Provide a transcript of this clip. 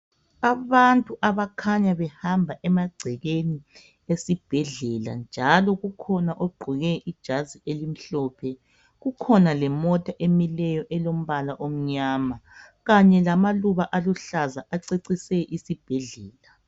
Abantu abakhanya behamba emagcekeni esibhedlela njalo kukhona ogqoke ijazi elimhlophe kukhona lemota emileyo elombala omnyama kanye lamaluba aluhlaza acecise isibhedlela.